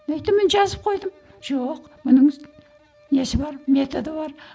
мен айттым міне жазып қойдым жоқ мұныңыз несі бар методы бар